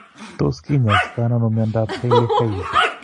Tos' kiny'aystonano mnyandoap Hailey Hailey?